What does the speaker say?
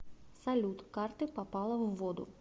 салют карты попала в воду